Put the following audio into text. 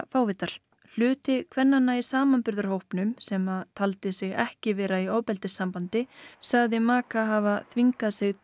fávita hluti kvennanna í samanburðarhópnum sem töldu sig ekki vera í ofbeldissambandi sögðu maka hafa þvingað sig til